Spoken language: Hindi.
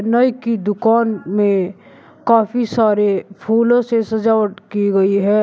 नाई की दुकान में काफी सारे फूलों से सजावट की गई है।